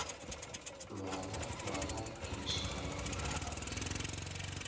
lwala lwala ke leswika lamphaphathi